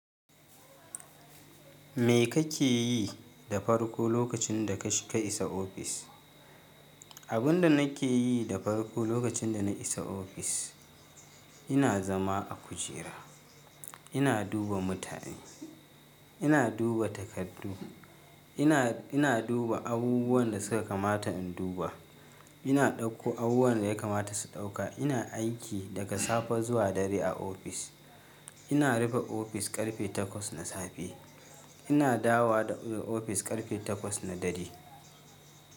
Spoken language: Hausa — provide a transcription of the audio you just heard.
Me kake yi da farko lokacin da ka sha ka isa ofis? Abin da nake yi da farko lokacin da na isa ofis, ina zama a kujera, ina duba mutane, ina duba takardu, ina, ina duba abubuwan da suka kamata in duba, ina ɗauko abubuwan da ya kamata su ɗauka. Ina aiki daga safe zuwa dare a ofis. Ina rufe ofis ƙarfe takwas na safe. Ina dawowa daga ofis ƙarfe takwas na dare.